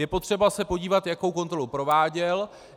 Je potřeba se podívat, jakou kontrolu prováděl.